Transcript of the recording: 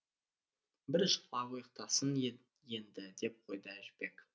біржола ұйықтасын енді деп қойды әжібек